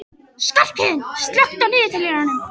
Skarphéðinn, slökktu á niðurteljaranum.